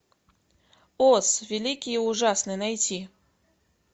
оз великий и ужасный найти